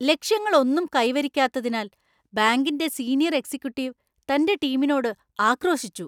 ലക്ഷ്യങ്ങളൊന്നും കൈവരിക്കാത്തതിനാൽ ബാങ്കിന്‍റെ senior‍ executive തന്‍റെ ടീമിനോട് ആക്രോശിച്ചു .